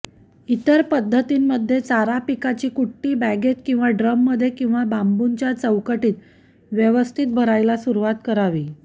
इतर पद्धतींमध्ये चारापिकाची कुट्टी बॅगेत किंवा ड्रममध्ये किंवा बांबूच्या चौकटीत व्यवस्थित भरायला सुरवात करावी